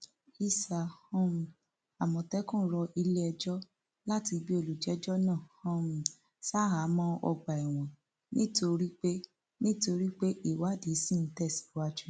isà um àmọtẹkùn rọ iléẹjọ láti gbé olùjẹjọ náà um ṣaháàmọ ọgbà ẹwọn nítorí pé nítorí pé ìwádìí ṣì ń tẹsíwájú